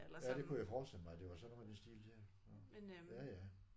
Ja det kunne jeg forestille mig at det var sådan noget i den stil der nåh ja ja